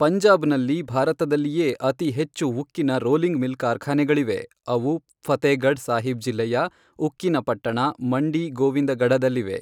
ಪಂಜಾಬ್ನಲ್ಲಿ ಭಾರತದಲ್ಲಿಯೇ ಅತಿ ಹೆಚ್ಚು ಉಕ್ಕಿನ ರೋಲಿಂಗ್ ಮಿಲ್ ಕಾರ್ಖಾನೆಗಳಿವೆ, ಅವು ಫತೇಗಢ್ ಸಾಹಿಬ್ ಜಿಲ್ಲೆಯ, ಉಕ್ಕಿನ ಪಟ್ಟಣ, ಮಂಡಿ ಗೋವಿಂದಗಢದಲ್ಲಿವೆ.